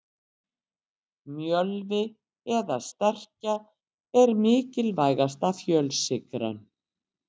Mjölvi eða sterkja er mikilvægasta fjölsykran.